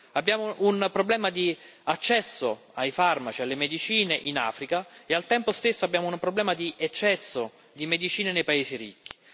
Abbiamo un problema di accesso ai farmaci, alle medicine, in Africa e, al tempo stesso, abbiamo un problema di eccesso di medicine nei paesi ricchi.